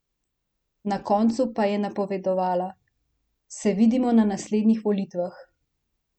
Na koncu pa je napovedala: "Se vidimo na naslednjih volitvah".